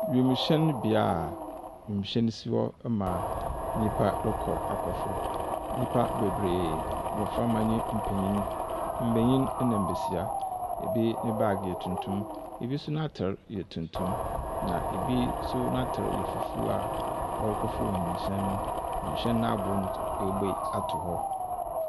Wiemhyɛn bea a wiemhyɛn si hɔ ma nnipa rekɔ akɔforo. Nnipa bebiree, mmɔframma ne mpenyin, mbenyin ɛna mbesia. Ebi ne baage yɛ tuntum, ebi nso n’ataar yɛ tuntum na ebi nso n’ataare yɛ fufu a wɔrekɔfo wiemhyɛn no. wiemhyɛn n’aboo no nso wɔabue ato hɔ.